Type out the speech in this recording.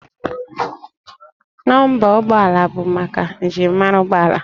Nọmba ụgbọala bụ maka njirimara ụgbọala